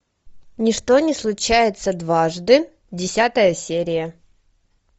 ни что не случается дважды десятая серия